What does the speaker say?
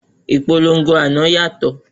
Ìpolongo àná yàtọ̀.